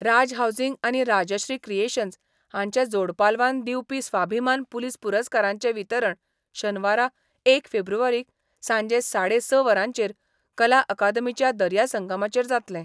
राज housing आनी Rajshree creations हांचे जोड पालवान दिवपी स्वाभिमान पुलिस पुरस्कारांचे वितरण शनवारा एक फेब्रुवारीक सांजे साडे स वरांचेर कला अकादमीच्या दर्या संगमाचेर जातलें.